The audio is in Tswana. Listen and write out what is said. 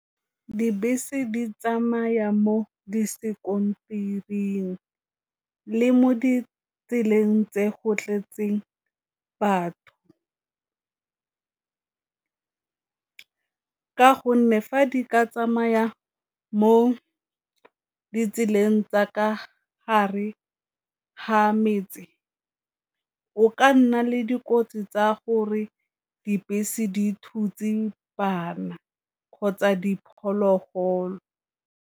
Dibese di tsamaya mo di sekontereng le mo ditseleng tse go tletseng batho, ka gonne fa di ka tsamaya mo ditseleng tsa ka hare ha metse go ka nna le dikotsi tsa gore dibese di thutse bana kgotsa diphologolo.